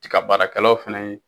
Tiga baarakɛlaw fɛnɛ ye